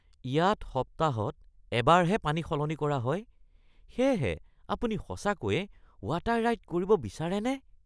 ইয়াত সপ্তাহত এবাৰহে পানী সলনি কৰা হয়, সেয়েহে আপুনি সঁচাকৈয়ে ৱাটাৰ ৰাইড কৰিব বিচাৰেনে?